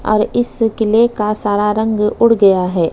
और इस किले का सारा रंग उड़ गया है।